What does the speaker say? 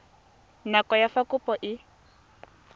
nako ya fa kopo e